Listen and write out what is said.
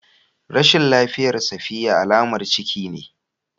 Rashin lafiyar safiya alamar ciki ce